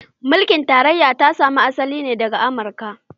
Mulkin tarayya ta samo asalin ta ne daga Amurka.